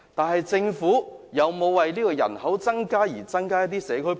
可是，政府有否為這些新增人口增加社區配套？